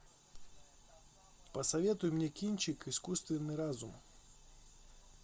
посоветуй мне кинчик искусственный разум